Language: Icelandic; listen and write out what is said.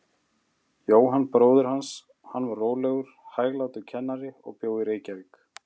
Jóhann bróðir hans, hann var rólegur, hæglátur kennari og bjó í Reykjavík.